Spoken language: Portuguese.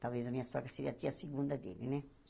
Talvez a minha sogra seria a tia segunda dele, né?